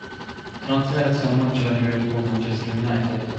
трансляция матча ливерпуль манчестер юнайтед